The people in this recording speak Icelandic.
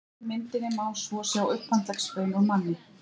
á hægri myndinni má svo sjá upphandleggsbein úr manni